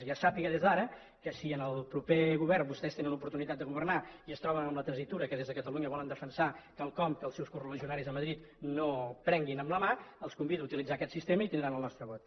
ja sàpiga des d’ara que si en el proper govern vostès tenen oportunitat de governar i es troben amb la tessitura que des de catalunya volen defensar quelcom que els seus coreligionaris a madrid no prenguin amb la mà els convido a utilitzar aquest sistema i tindran el nostre vot